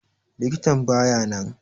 Likitan baya nan.